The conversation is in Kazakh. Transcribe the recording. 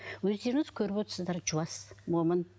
өздеріңіз көріп отырсыздар жуас момын